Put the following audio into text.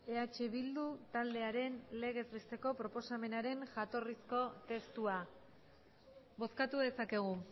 eh bildu taldearen legez besteko proposamenaren jatorrizko testua bozkatu dezakegu